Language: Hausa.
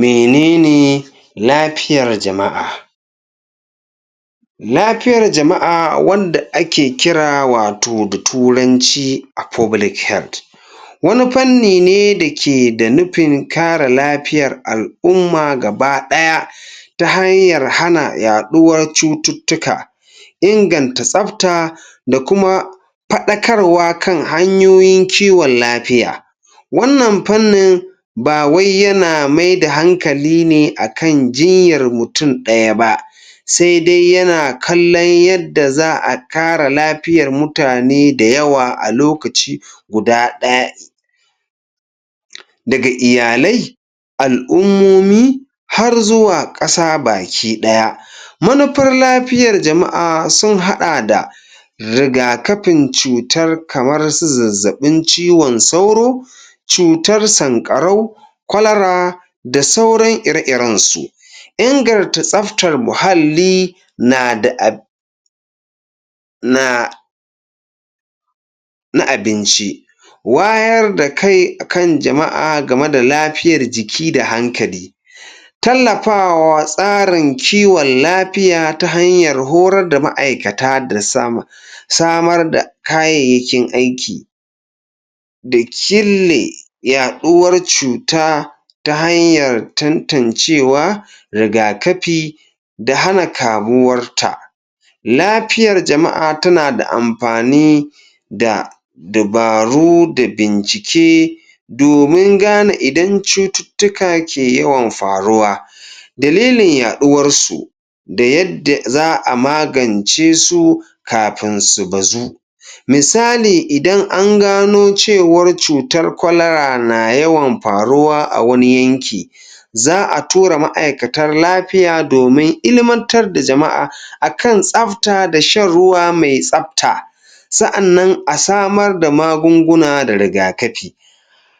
Menene lapiyar jama'a? Lapiyar jama'a wanda ake kira wato da turanci a wani panni ne da ke da nupin kare lapiyar al'umma gaba ɗaya ta hanyar hana yaɗuwar cututtuka inganta tsapta da kuma paɗakarwa kan hanyoyin kiwon lapiya wannan pannin ba wai yana maida hankali ne a kan jinyar mutum ɗaya ba se de yana kallon yadda za a kare lapiyar mutane dayawa a lokaci guda daga iyalai al'ummomi har zuwa ƙasa baki ɗaya manupar lapiyar jama'a sun haɗa da rigakapin cutar kamar su zazzaɓin ciwon sauro cutar sanƙarau kwalara da sauran ire-iren su ingarta tsaftar muhalli na da na na abinci wayar da kai kan jama'a game da lapiyar jiki da hankali tallapawa tsarin kiwon lapiya ta hanyan horar da ma'aikata da sama samar da kayayyakin aiki da kille yaɗuwar cuta ta hanyar tantancewa rigakapi da hana kamuwar ta lapiyar jama'a tana da ampani da dabaru da bincike domin gane idan cututtuka ke yawan faruwa dalilin yaɗuwar su da yadda za a magance su kapin su bazu misali idan an gano cewar cutar kwalara na yawan paruwa a wani yanki za a tura ma'aikatar lapiya domin ilimantar da jama'a akan tsafta da shan ruwa mai tsafta sa'annan a samar da magunguna da rigakapi\